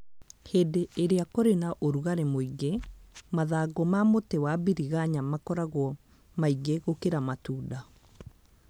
Hĩndĩ ĩrĩa kũrĩ na ũrugarĩ mũingĩ, mathangũ ma mũtĩ wa biringanya makoragwo maingĩ gũkĩra matunda